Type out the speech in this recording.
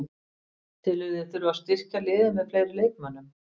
Telurðu þig þurfa að styrkja liðið með fleiri leikmönnum?